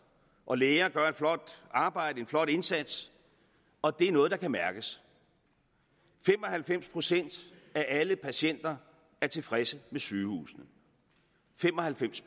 og læger gør et flot arbejde en flot indsats og det er noget der kan mærkes fem og halvfems procent af alle patienter er tilfredse med sygehusene fem og halvfems